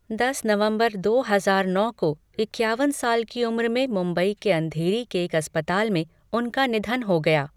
दस नवंबर दो हजार नौ को इक्यावन साल की उम्र में मुंबई के अँधेरी के एक अस्पताल में उनका निधन हो गया।